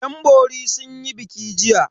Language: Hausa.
Yanbori sun yi biki jiya.